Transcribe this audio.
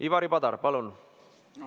Ivari Padar, palun!